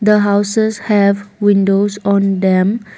The houses have windows on them.